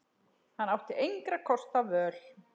Hann átti engra kosta völ.